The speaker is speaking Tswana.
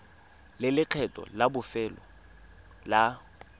le lekgetho la bofelo la